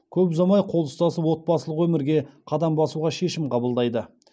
көп ұзамай қол ұстасып отбасылық өмірге қадам басуға шешім қабылдайды